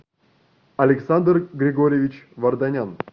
александр григорьевич варданян